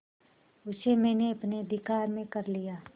उसे मैंने अपने अधिकार में कर लिया